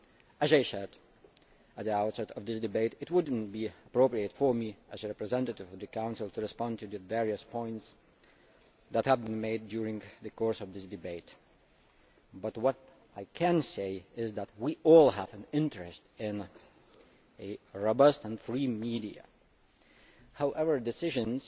As I said at the outset, it would not be appropriate for me as a representative of the Council to respond to the various points that have been made in the course of the debate but what I can say is that we all have an interest in robust and free media. However, decisions